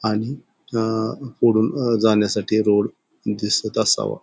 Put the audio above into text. आणि अ पुढून जाण्यासाठी रोड दिसत असावा.